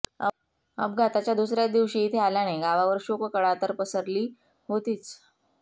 अपघाताच्या दुसऱ्याच दिवशी इथे आल्याने गावावर शोककळा तर पसरली होतीच